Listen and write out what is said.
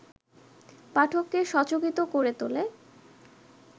পাঠককে সচকিত করে তোলে